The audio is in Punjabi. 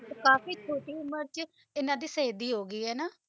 ਕਾਫੀ ਛੋਟੀ ਉਮਰ ਚ 'ਇਹਨਾਂ ਦੀ ਸ਼ਹੀਦੀ ਹੋਗੀ ਹੈ ਨਾ